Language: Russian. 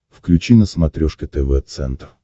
включи на смотрешке тв центр